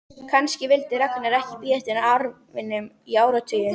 Kannski vildi Ragnar ekki bíða eftir arfinum í áratugi.